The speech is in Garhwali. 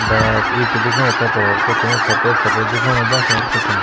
बस ई च दिखेणु तेफर होर कुछ नि सफेद सफेद दिखेणु बस होर कुछ ना।